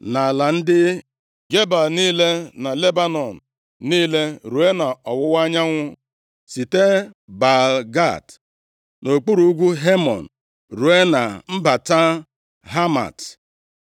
na ala ndị Gebal niile; na Lebanọn niile ruo nʼọwụwa anyanwụ, site Baal-Gad nʼokpuru ugwu Hemon ruo na mbata Hamat.